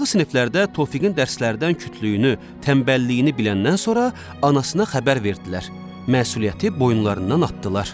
Aşağı siniflərdə Tofiqin dərslərdən kütlüyünü, tənbəlliyini biləndən sonra anasına xəbər verdilər, məsuliyyəti boyunlarından atdılar.